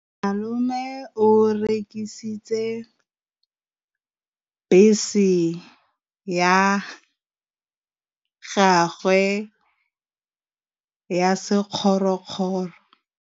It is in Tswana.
Malome o rekisitse bese ya gagwe ya sekgorokgoro.